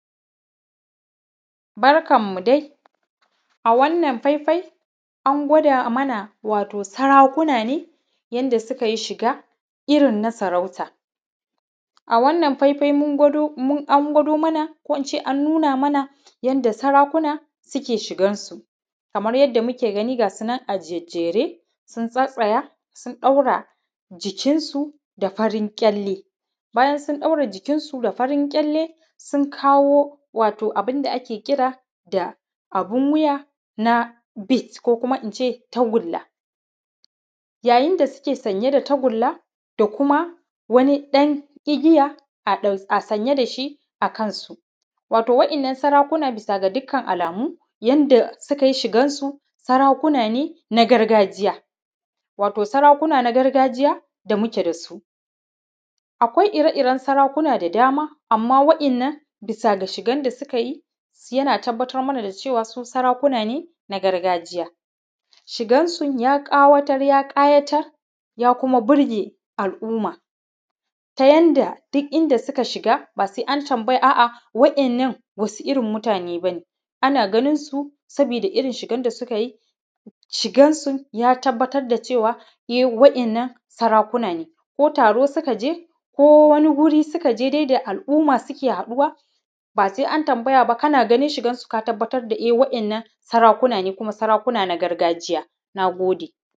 Barkan mu dai a wannan ɸaiɸai an gwado mana wato sarakuna ne, yanda suka yi shiga irin na sarauta. A wannan faifai mun gwado an gwada mana ko in ce an nuna mana yanda sarakuna suke shigan su. Kamar yanda muke gani ga su nan a jijjere, sun tsattsaya sun ɗaura jikin su da farin kyalle, bayan sun ɗaura jikinsu da farin ƙyalle sun kawo wato abun wuya, na bead ko kuma in ce tagulla. Yayin da suke sanye da tagulla da kuma wani ɗan igiya a sanye da shi a kansu. Wato wa’yannan sarakuna da dukkan alamu yanda suka yi shigarsu, sarakuna ne na gargajiya. Wato sarakuna na gargajiya da muke da su. Akwai ire-iren sarakuna da dama amma wa’yannan bisa ga shigan da suka yi, yana tabbatar mana da cewa su sarakuna ne na gargajiya. Shigansu ya ƙawatar, ya ƙayatar, ya kuma burge al’umma ta yanda duk inda suka shiga ba sai an tambaya a'a wa’yannan wasu irin mutane ba ne. Ana ganinsu saboda irin shigan da suka yi, shigansu ya tabbatar da cewa wa’yannan sarakuna ne. Ko taro suka ʤe ko wani guri suka je dai da al'umma suke haɗuwa ba sai an tambaya ba kana ganin shigansu ka tabbata wa’yannan sarakuna ne kuma sarakuna ne na gargajiya. Na gode.